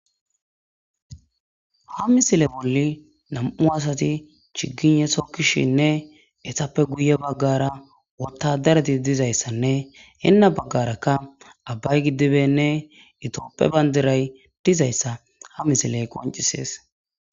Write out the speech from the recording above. ha misile bolli nam7u asati chiginyesokkishinne etappe guye baggara wotadareti dizayssanne henna baggarakka abbay giddibenne itooppe bandiray dizayssa ha misiley qoncisees